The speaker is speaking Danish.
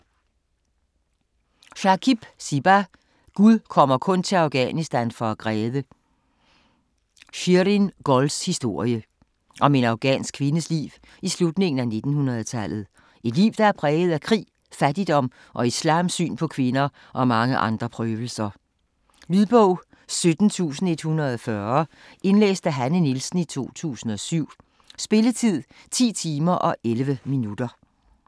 Shakib, Siba: Gud kommer kun til Afghanistan for at græde: Shirin-Gols historie Om en afghansk kvindes liv i slutningen af 1900-tallet. Et liv der er præget af krig, fattigdom og islams syn på kvinder og mange andre prøvelser. Lydbog 17140 Indlæst af Hanne Nielsen, 2007. Spilletid: 10 timer, 11 minutter.